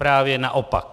Právě naopak.